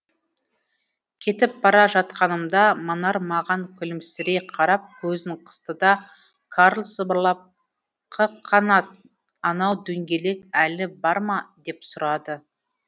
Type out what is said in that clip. кетіп бара жатқанымда манар маған күлімсірей қарап көзін қысты да карл сыбырлап қ қанат анау дөңгелек әлі бар ма деп сұрады